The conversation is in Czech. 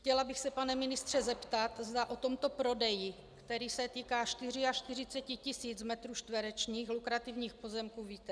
Chtěla bych se, pane ministře, zeptat, zda o tomto prodeji, který se týká 44 tisíc metrů čtverečních lukrativních pozemků, víte.